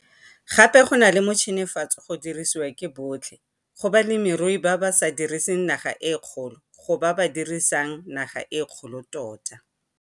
Gape go na le motšhenefatso go dirisiwa ke botlhe - go balemirui ba ba sa diriseng naga e kgolo go ba ba dirisang naga e kgolo tota.